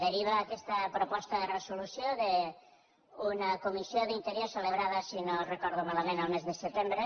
deriva aquesta proposta de resolució d’una comissió d’interior celebrada si no ho recordo malament el mes de setembre